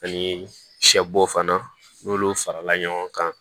Ani sɛbo fana n'olu farala ɲɔgɔn kan